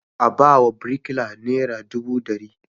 A ba wa birikilar nera dubu ɗari.